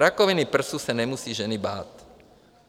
Rakoviny prsu se nemusí ženy bát.